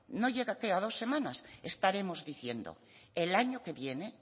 no llega a qué a dos semanas estaremos diciendo el año que viene